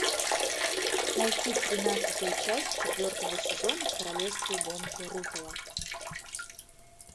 найти тринадцатую часть четвертого сезона королевские гонки рупола